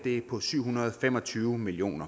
på syv hundrede og fem og tyve million